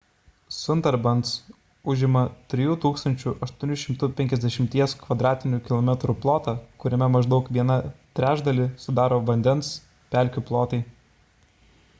sundarbans užima 3 850 km² plotą kuriame maždaug vieną trečdalį sudaro vandens / pelkių plotai